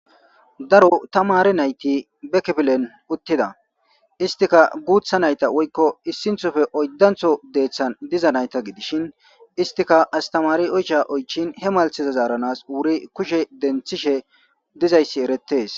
Daro tamari nayti bekpilen uttida istika guutha nayta woykko issinthofe oyddantho deeththan diza nayta gidishin istika astamari oycha oychin he maltheza zaaranas wuri kushe denthishe dizayssi eretes.